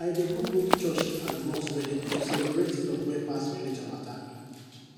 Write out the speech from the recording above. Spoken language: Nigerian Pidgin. i dey go both church and mosque wedding to celebrate love wey pass religion matter